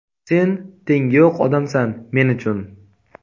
Sen tengi yo‘q odamsan men uchun.